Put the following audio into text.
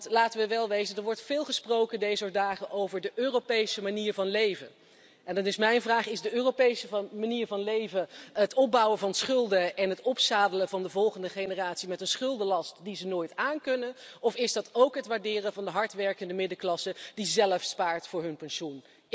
Want laten we wel wezen er wordt dezer dagen veel gesproken over de Europese manier van leven, en dan is mijn vraag is de Europese van manier van leven het opbouwen van schulden en het opzadelen van de volgende generatie met een schuldenlast die ze nooit aankunnen of is dat ook het waarderen van de hardwerkende middenklasse die zelf spaart voor hun pensioen?